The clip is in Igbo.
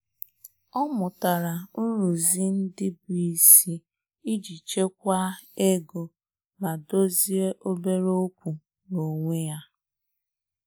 Ọ́ mụ́tàrà nrụ́zị́ ndị́ bụ́ ísí ìjí chèkwáá égo mà dòzìé óbèré ókwú n’ónwé yá.